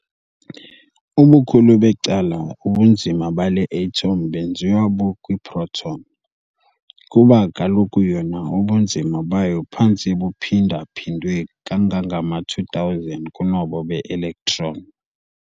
Ubukhulu becala ubunzima bale atom benziwa bukwi-proton, kuba kaloku yona ubunzima bayo phantse buphinda-phindwe kangangama-2000 kunobo be-electron.